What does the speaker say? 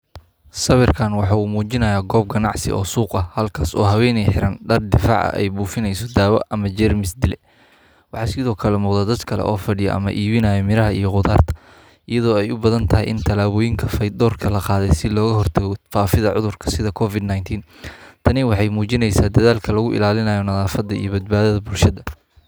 Sawirkan waxa uu muujinayaa goob ganacsi oo suuq ah halkaas oo haweeney xiran dhar difaac ah ay buufinayso daawo ama jeermis dile. Waxaa sidoo kale muuqda dad kale oo fadhiya ama iibinaya miraha iyo khudaarta, iyadoo ay u badan tahay in tallaabooyinka fayadhowrka la qaaday si looga hortago faafidda cudur, sida COVID nineteen. Tani waxay muujinaysaa dadaalka lagu ilaalinayo nadaafadda iyo badbaadada bulshada.